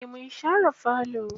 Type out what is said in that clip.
Eh mun share falo.